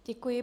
Děkuji.